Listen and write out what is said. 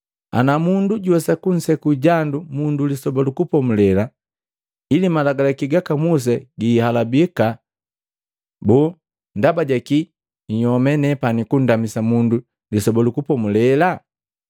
Ana mundu juwesa kunseku jandu mundu Lisoba lu Kupomulela ili Malagalaki gaka Musa giihalabika, boo ndaba ja kii nhyome nepani kundamisa mundu Lisoba lu Kupomulela?